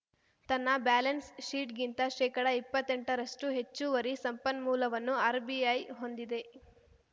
ತನ್ನ ಬ್ಯಾಲೆನ್ಸ್‌ಶೀಟ್‌ಗಿಂತ ಶೇಕಡಇಪ್ಪತ್ತೆಂಟರಷ್ಟುಹೆಚ್ಚುವರಿ ಸಂಪನ್ಮೂಲವನ್ನು ಆರ್‌ಬಿಐ ಹೊಂದಿದೆ